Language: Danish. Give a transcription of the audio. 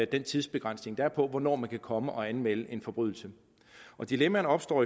den tidsbegrænsning der er på hvornår man kan komme og anmelde en forbrydelse dilemmaerne opstår